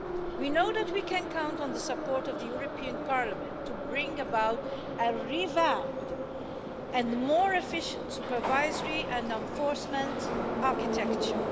We know that we can count on the support of the European Parliament to bring about a revamped and more efficient supervisory and enforcement architecture.